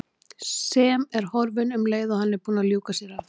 Sem er horfin um leið og hann er búinn að ljúka sér af.